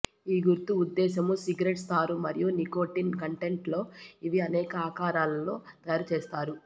ఈ గుర్తు ఉద్దేశ్యము సిగరెట్స్ తారు మరియు నికోటిన్ కంటెంట్ లో ఇవి అనేక ఆకారాలను లో తయారు చేస్తారు